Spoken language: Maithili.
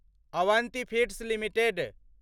Avanti feeds limited